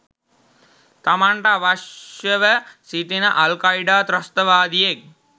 තමන්ට අවශ්‍යව සිටින අල්කයීඩා ත්‍රස්තවාදියෙක්